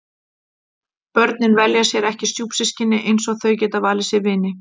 Börnin velja sér ekki stjúpsystkini eins og þau geta valið sér vini.